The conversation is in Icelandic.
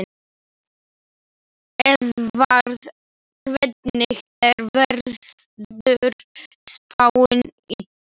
Eðvarð, hvernig er veðurspáin?